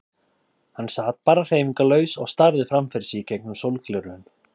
Hann sat bara hreyfingarlaus og starði fram fyrir sig í gegnum sólgleraugun.